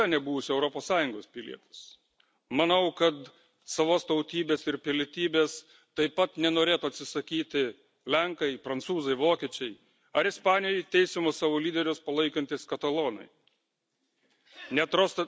Nenoriu ir niekada nebūsiu Europos Sąjungos pilietis. Manau, kad savos tautybės ir pilietybės taip pat nenorėtų atsisakyti lenkai, prancūzai, vokiečiai ar Ispanijoje teisiamus savo lyderius palaikantys katalonai.